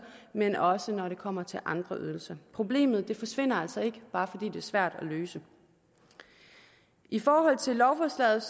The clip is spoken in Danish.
men også når det kommer til andre ydelser problemet forsvinder altså ikke bare fordi det er svært at løse i forhold til lovforslaget